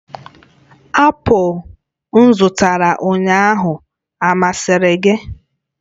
apụl m zụtara ụnyaahụ ọ masịrị gị?